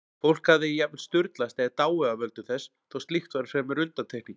Fólk hafði jafnvel sturlast eða dáið af völdum þess, þó slíkt væri fremur undantekning.